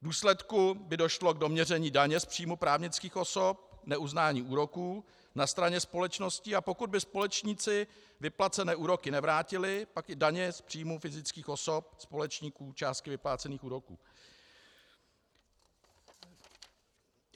V důsledku by došlo k doměření daně z příjmu právnických osob, neuznání úroků na straně společností, a pokud by společníci vyplacené úroky nevrátili, pak i daně z příjmů fyzických osob společníků částky vyplácených úroků.